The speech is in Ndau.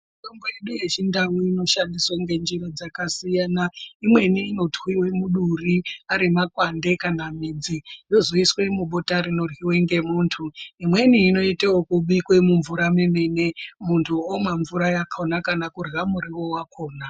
Mitombo yedu yechindau inoshandiswa ngenjira dzakasiyana. Inweni inotwiwe muduri arimakwande kana midzi yozoiswe mubota rinoryiwa ngemuntu. Imweni inoita yekubikwa mumvura yemene muntu omwe mvura yakona kana kurya muriwo wakona